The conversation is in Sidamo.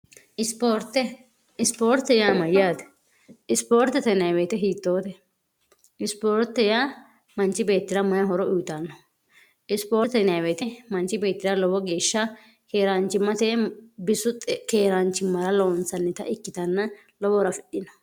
isoorte ispoorte yaa mayyaate isipoorte tenweete hiittoote isipoorte yaa manchi beettira mayihoro uyitanno isipoorte nweete manchi beettira lowo geeshsha keeraanchimmate bisu keeraanchimmara loonsannita ikkitanna lowo rafidhino